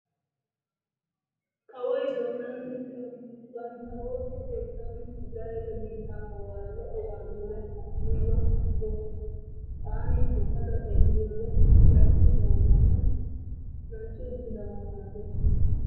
Kawoyi Donald Tiramppi bantta ooso keettan Isiraa'eele biittaa kawuwaara lo'obaa zorettanaaniyaaba malatoosona. Taani akeekada xeelliyoode Tiramppi bawozanan lancci uttidaba malatees.